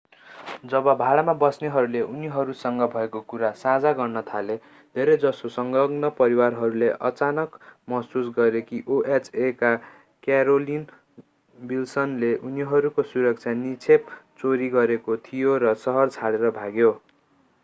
जब भाडामा बस्नेहरूले उनीहरूसँग भएको कुरा साझा गर्न थाले धेरैजसो संलग्न परिवारहरूले अचानक महसुस गरे कि oha का क्यारोलिन विल्सनले उनीहरूको सुरक्षा निक्षेप चोरी गरेको थियो र शहर छोडेर भाग्यो